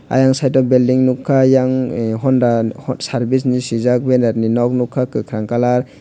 ayang side o building nukha yang honda service hinwi swijak banner nok nukha kwkhwrang colour.